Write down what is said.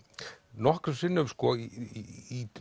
nokkrum sinnum í